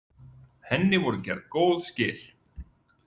Henni voru gerð góð skil.